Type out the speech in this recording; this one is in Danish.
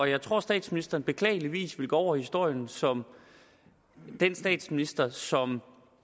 jeg tror statsministeren beklageligvis vil gå over i historien som den statsminister som